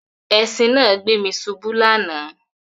Ẹṣìn náà gbé mi ṣubu lánàá